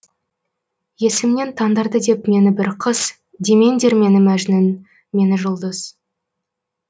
есімнен тандырды деп мені бір қыз демеңдер мені мәжнүн мені жұлдыз